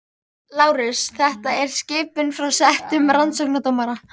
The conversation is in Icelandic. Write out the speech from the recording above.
LÁRUS: Þetta er skipun frá settum rannsóknardómara.